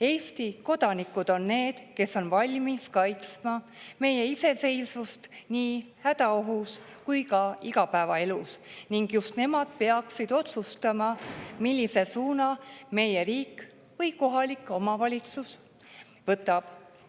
Eesti kodanikud on need, kes on valmis kaitsma meie iseseisvust nii hädaohu korral kui ka igapäevaelus, ning just nemad peaksid otsustama, millise suuna meie riik või kohalik omavalitsus võtab.